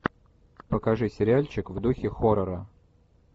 покажи сериальчик в духе хоррора